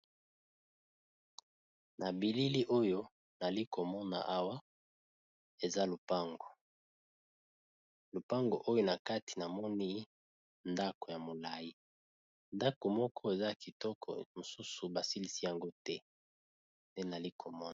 Na bilili nazali komona awa, eza lopango, lopango nakati namoni ndaku moko ya molayi